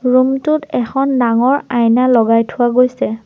Room টোত এখন ডাঙৰ আইনা লগাই থোৱা গৈছে।